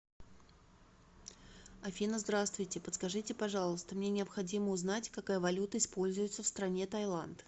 афина здравствуйте подскажите пожалуйста мне необходимо узнать какая валюта используется в стране тайланд